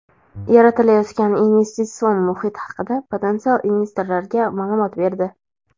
yaratilayotgan investitsion muhit haqida potensial investorlarga maʼlumot berdi.